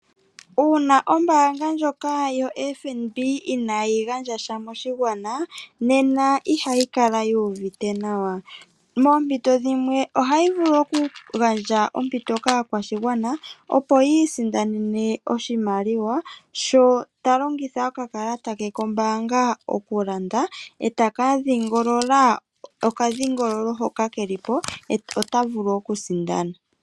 Uuna ombaanga ndjoka yo FNB inaaayi gandja sha moshigwana, nena ihayi kala yu uvite nawa. Moompito dhimwe ohayi vulu oku gandja ompito kaakwashigwana opo yi isindanene oshimaliwa, sho ta longitha okakalata ke kombaanga okulanda, etaka dhiingolola oka dhingololo hoka ke lipo, ota vulu oku sindana.